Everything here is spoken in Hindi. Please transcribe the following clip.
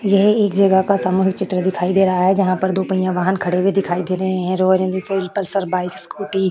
यह एक जगह का सामूहिक चित्र दिखाई दे रहा है जहां पे दो पहियां वाहन खड़े हुए दिखाई दे रहे हैं ऑरेंज कलर की पल्सर बाइक स्कूटी --